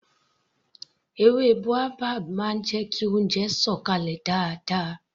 Èwe baobab máa ń jẹ kí oúnjẹ sọ̀ kalẹ̀ dáadáa